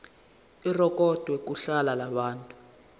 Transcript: irekhodwe kuhla lwabantu